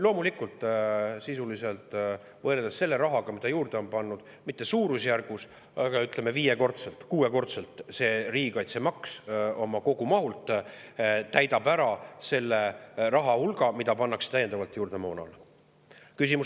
Loomulikult, sisuliselt, võrreldes selle rahaga, mida juurde on pandud, mitte suurusjärgus, aga ütleme, viiekordselt, kuuekordselt, täidab see riigikaitsemaks oma kogumahult ära selle rahahulga, mis pannakse täiendavalt juurde moona.